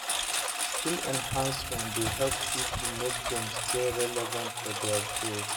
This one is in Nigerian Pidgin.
Skill enhancement dey help pipo make dem stay relevant for their field.